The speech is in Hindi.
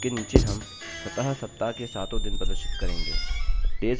इसके नीचे हम स्वतः सप्ताह के सातों दिन प्रदर्शित करेंगे